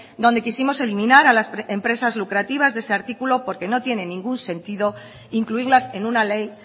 donde quisimos eliminar a las empresas lucrativas de ese artículo porque no tiene ningún sentido incluirlas en una ley